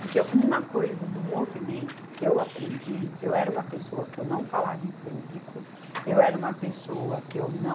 Porque uma coisa do movimento que eu aprendi, eu era uma pessoa que eu não falava em público, eu era uma pessoa que eu não...